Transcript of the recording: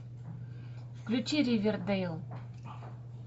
включи ривердейл